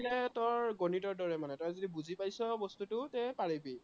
maths ৰ গণিতৰ দৰে মানে, তই যদি বুজি পাইছ, বস্তুটো, তে পাৰিবি